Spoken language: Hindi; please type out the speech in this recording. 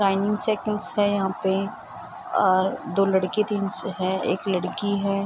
टाइमिंग सेटिंग्स है यहाँ पे और दो लड़की टीम्स है एक लड़की है।